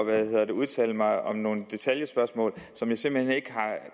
nu at udtale mig om nogle detaljespørgsmål som jeg simpelt hen ikke har